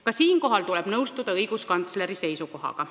Ka siinkohal tuleb nõustuda õiguskantsleri seisukohaga.